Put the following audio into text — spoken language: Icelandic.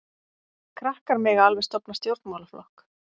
Krakkar mega alveg stofna stjórnmálaflokk.